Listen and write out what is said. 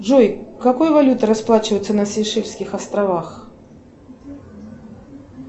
джой какой валютой расплачиваются на сейшельских островах